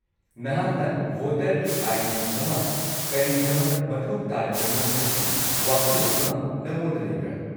-ꯅꯍꯥꯛꯅ ꯚꯣꯇꯔꯒꯤ ꯑꯥꯏ.ꯗꯤ. ꯑꯃ ꯀꯔꯤꯒꯤꯗꯃꯛ ꯃꯊꯧ ꯇꯥꯔꯤꯕꯅꯣ ꯍꯥꯏꯕꯒꯤ ꯋꯥꯈꯜꯂꯣꯟ ꯑꯃ ꯅꯉꯣꯟꯗ ꯂꯩꯕ꯭ꯔꯥ?